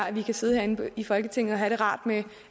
at vi kan sidde herinde i folketinget og have det rart med